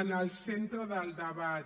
en el centre del debat